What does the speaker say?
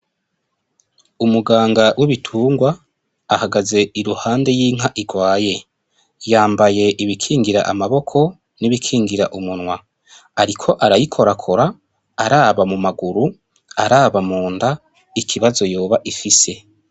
Umuganga w'ibitungwa ahagaze impande y'inka irwaye yambaye ibikingira amaboko nibikingira umunwa ariko arayikorakora araba mu maguru araba munda ikibazo yoba ifise.